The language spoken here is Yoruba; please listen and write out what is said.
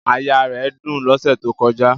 Àyà rẹ̀ dùn lọ́sẹ̀ tó kọjá